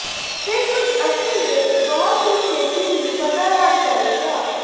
ਅਤੇ ਕੁਝ ਅਸਲ ਵਿੱਚ ਬਹੁਤ ਹੀ ਛੇਤੀ ਹੀ ਪਤਾ ਲਗ ਜਾਵੇਗਾ